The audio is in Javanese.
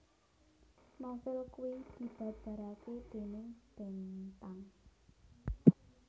Novél kui dibabarake déning Bentang